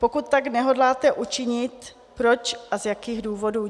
Pokud tak nehodláte učinit, proč a z jakých důvodů?